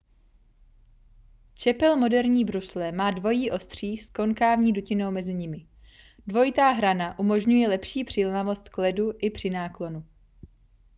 čepel moderní brusle má dvojí ostří s konkávní dutinou mezi nimi dvojitá hrana umožňuje lepší přilnavost k ledu i při náklonu